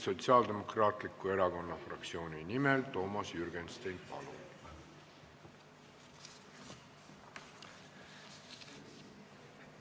Sotsiaaldemokraatliku Erakonna fraktsiooni nimel Toomas Jürgenstein, palun!